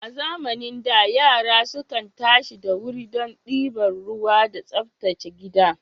A zamanin da, yara sukan tashi da wuri don ɗiba ruwa da tsaftace gida.